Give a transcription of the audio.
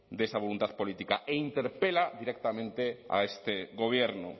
de esa voluntad política e interpela directamente a este gobierno